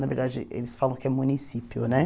Na verdade, eles falam que é município, né?